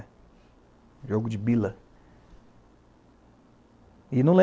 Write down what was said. Jogo de Bila.